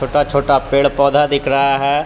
छोटा छोटा पेड़ पौधा दिख रहा है।